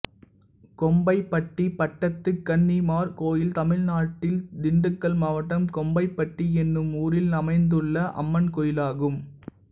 கோம்பைப்பட்டி பட்டத்து கன்னிமார் கோயில் தமிழ்நாட்டில் திண்டுக்கல் மாவட்டம் கோம்பைப்பட்டி என்னும் ஊரில் அமைந்துள்ள அம்மன் கோயிலாகும்